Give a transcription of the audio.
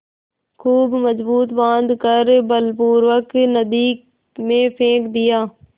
खूब मजबूत बॉँध कर बलपूर्वक नदी में फेंक दिया